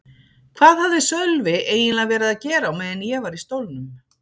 Hvað hafði Sölvi eiginlega verið að gera á meðan ég var í stólnum?